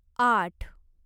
आठ